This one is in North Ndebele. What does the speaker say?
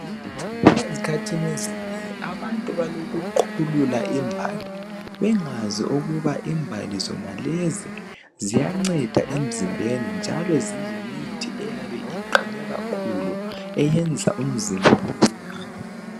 Ezikhathini ezinengi abantu balokuqhulula imbali bengazi ukuba imbali zona lezi ziyanceda emzimbeni njalo ziyimithi eyabe iqhame kakhulu eyenza umzimba uphile.